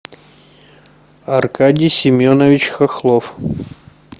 аркадий семенович хохлов